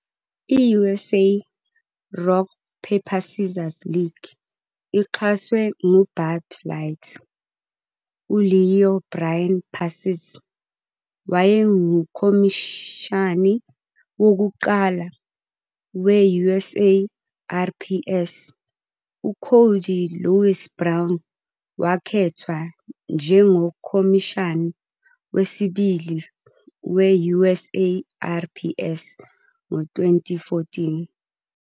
I-USA Rock Paper Scissors League ixhaswe nguBud Light. U-Leo Bryan Pacis wayengukhomishani wokuqala we-USARPS. UCody Louis Brown wakhethwa njengokhomishani wesibili we-USARPS ngo-2014.